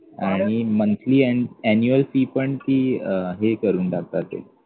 आणि monthly and annual fee पण ती अं हे करून टाकतात